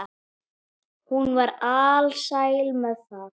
Hún var alsæl með það.